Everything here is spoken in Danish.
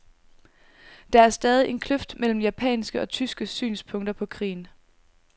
Der er stadig en kløft mellem japanske og tyske synspunkter på krigen.